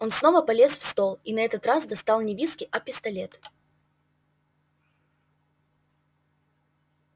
он снова полез в стол и на этот раз достал не виски а пистолет